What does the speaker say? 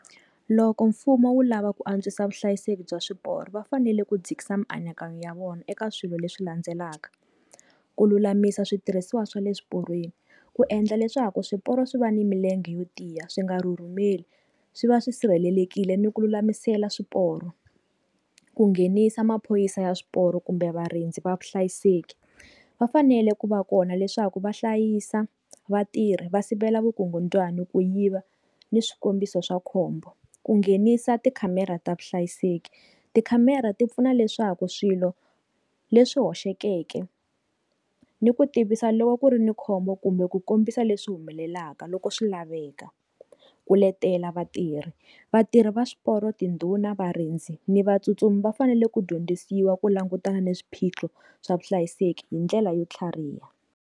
Loko mfumo wu lava ku antswisa vuhlayiseki bya swiporo va fanele ku dzikisa mianakanyo ya vona eka swilo leswi landzelaka ku lulamisa switirhisiwa swa le swiporweni ku endla leswaku swiporo swi va ni milenge yo tiya swi nga rhurhumeli swi va swi sirhelelekile ni ku lulamisela swiporo ku nghenisa maphorisa ya swiporo kumbe varindzi va vuhlayiseki vafanele ku va kona leswaku va hlayisa vatirhi va sivela vukungundwani ku yiva ni swikombiso swa khombo ku nghenisa ti khamera ta vuhlayiseki ti khamera ti pfuna leswaku swilo leswi hoxekeke ni ku tivisa loko ku ri ni khombo kumbe ku kombisa leswi humelelaka loko swi laveka ku letela vatirhi vatirhi va swiporo tindhuna varindzi ni va tsutsumi va fanele ku dyondzisiwa ku langutana na swiphiqo swa vuhlayiseki hi ndlela yo tlhariha.